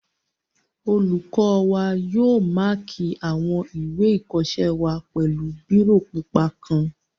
Olùkọ́ wa yóò máàkì àwọn ìwé ìkọsẹ́ wa pẹ̀lú bírò pupa kan